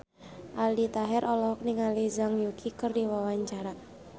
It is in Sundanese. Aldi Taher olohok ningali Zhang Yuqi keur diwawancara